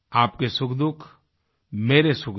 आपके सुखदुःख मेरे सुखदुःख